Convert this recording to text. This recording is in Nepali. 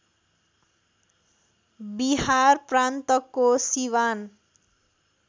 बिहार प्रान्तको सिवान